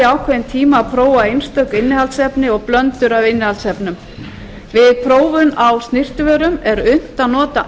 ákveðinn tíma að prófa einstök innihaldsefni og blöndur af innihaldsefnum við prófun á snyrtivörum er unnt að nota